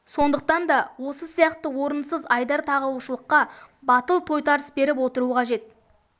сондықтан да осы сияқты орынсыз айдар тағушылыққа батыл тойтарыс беріп отыру қажет